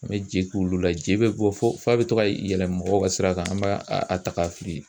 An bɛ je k'olu la je bɛ bɔ fo f'a bɛ to ka yɛlɛ mɔgɔw ka sira kan an b'a a ta k'a fili